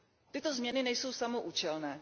Tyto změny nejsou samoúčelné.